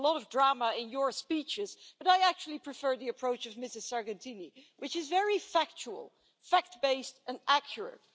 You put a lot of drama in your speeches, Mr Orbán, but I actually prefer the approach of Ms Sargentini, which is very factual, fact based and accurate.